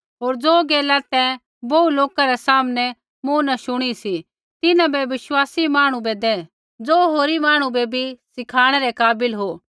होर ज़ो गैला तैं बोहू लोका रै सामनै मूँ न शुणी सी तिन्हां बै विश्वासी मांहणु बै दै ज़ो होरी मांहणु बै बी सिखाणै रै काबिल हो